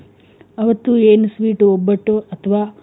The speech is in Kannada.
ಅವತ್ತು sweet ಒಬ್ಬಟ್ಟು ಅಥವಾ